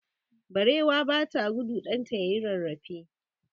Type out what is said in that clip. Barewa ba ta gudu ɗanta ya yi rarrafe.